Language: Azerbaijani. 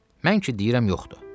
Mən ki deyirəm yoxdur.